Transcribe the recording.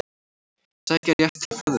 Sækja rétt til ferðaþjónustu